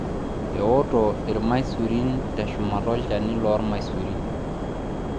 ewoto ilmasurin teshumata olchani loolmaisurin